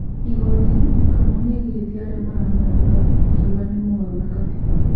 Igoti:Kamau nĩagiretie arĩa maramũrũnga akiuga nĩ mũgaro na gatiba